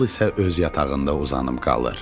Yol isə öz yatağında uzanıb qalır.